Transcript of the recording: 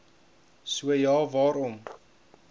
so ja waarom